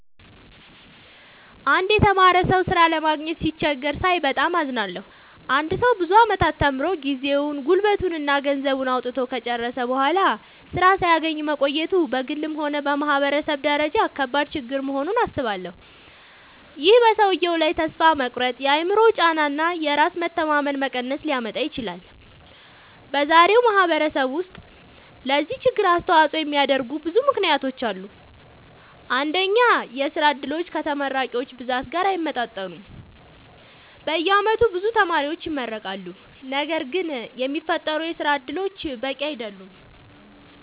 አንድ የተማረ ሰው ሥራ ለማግኘት ሲቸገር ሳይ በጣም አዝናለሁ። አንድ ሰው ብዙ ዓመታት ተምሮ፣ ጊዜውን፣ ጉልበቱን እና ገንዘቡን አውጥቶ ከጨረሰ በኋላ ሥራ ሳያገኝ መቆየቱ በግልም ሆነ በማህበረሰብ ደረጃ ከባድ ችግር መሆኑን አስባለሁ። ይህ በሰውየው ላይ ተስፋ መቁረጥ፣ የአእምሮ ጫና እና የራስ መተማመን መቀነስ ሊያመጣ ይችላል። በዛሬው ማህበረሰብ ውስጥ ለዚህ ችግር አስተዋጽኦ የሚያደርጉ ብዙ ምክንያቶች አሉ። አንደኛ፣ የሥራ ዕድሎች ከተመራቂዎች ብዛት ጋር አይመጣጠኑም። በየዓመቱ ብዙ ተማሪዎች ይመረቃሉ፣ ነገር ግን የሚፈጠሩ የሥራ እድሎች በቂ አይደሉም።